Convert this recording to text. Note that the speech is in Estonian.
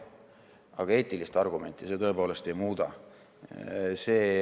Aga eetilist argumenti see tõepoolest ei muuda.